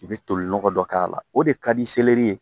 I be toli nɔgɔ dɔ k'a la, o de ka di ye.